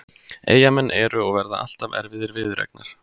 Eyjamenn eru og verða alltaf erfiðir viðureignar.